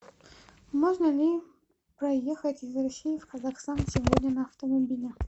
можно ли проехать из россии в казахстан сегодня на автомобиле